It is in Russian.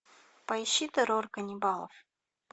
поищи террор каннибалов